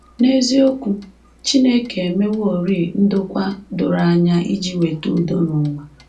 N’eziokwu, Chineke emeworị ndokwa doro anya iji weta udo n’ụwa